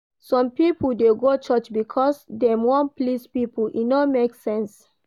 Some pipo dey go church because dem wan please pipo, e no make sense.